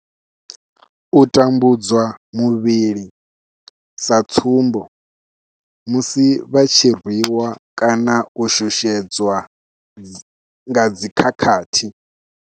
U tambudzwa muvhili sa tsumbo, musi vha tshi rwi wa kana u shushedzwa nga dzi khakhathi.